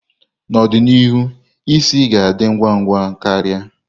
N'ọdịnihu, isi ga ndị ngwa ngwa ka ria.